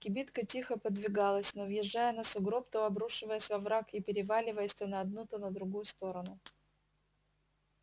кибитка тихо подвигалась то въезжая на сугроб то обрушаясь в овраг и переваливаясь то на одну то на другую сторону